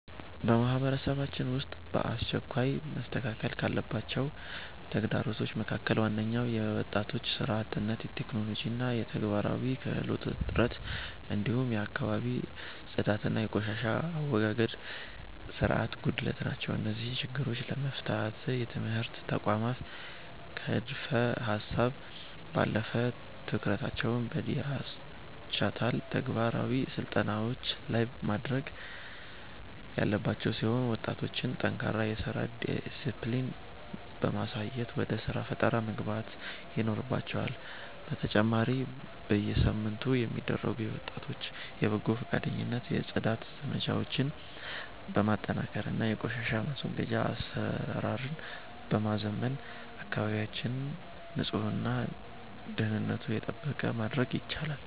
በማህበረሰባችን ውስጥ በአስቸኳይ መስተካከል ካለባቸው ተግዳሮቶች መካከል ዋነኞቹ የወጣቶች ሥራ አጥነት፣ የቴክኖሎጂና የተግባራዊ ክህሎት እጥረት፣ እንዲሁም የአካባቢ ጽዳትና የቆሻሻ አወጋገድ ሥርዓት ጉድለት ናቸው። እነዚህን ችግሮች ለመፍታት የትምህርት ተቋማት ከንድፈ-ሀሳብ ባለፈ ትኩረታቸውን በዲጂታልና ተግባራዊ ስልጠናዎች ላይ ማድረግ ያለባቸው ሲሆን፣ ወጣቶችም ጠንካራ የሥራ ዲስፕሊን በማሳየት ወደ ሥራ ፈጠራ መግባት ይኖርባቸዋል፤ በተጨማሪም በየሳምንቱ የሚደረጉ የወጣቶች የበጎ ፈቃደኝነት የጽዳት ዘመቻዎችን በማጠናከርና የቆሻሻ ማስወገጃ አሰራርን በማዘመን አካባቢያችንን ንጹህና ደህንነቱ የተጠበቀ ማድረግ ይቻላል።